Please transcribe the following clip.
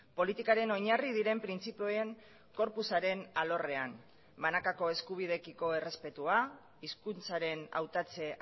politikaren oinarri diren printzipioen corpusaren alorrean banakako eskubideekiko errespetua hizkuntzaren hautatze